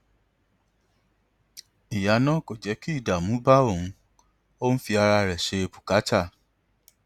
ìyá náà kò jẹ kí ìdààmú bá òun ó ń fi ara rẹ ṣe bùkátà